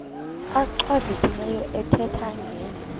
achwavitilevo ethetha ngeli